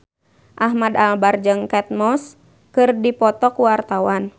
Ahmad Albar jeung Kate Moss keur dipoto ku wartawan